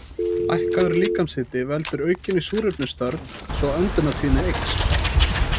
Lækkaður líkamshiti veldur aukinni súrefnisþörf svo öndunartíðni eykst.